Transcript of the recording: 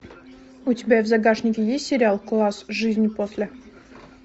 у тебя в загашнике есть сериал класс жизнь после